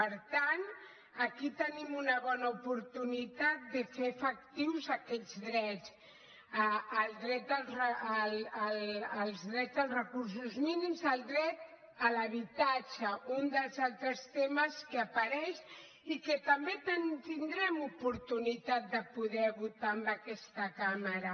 per tant aquí tenim una bona oportunitat de fer efectius aquests drets el dret als recursos mínims el dret a l’habitatge un dels altres temes que apareix i que també tindrem oportunitat de poder votar en aquesta cambra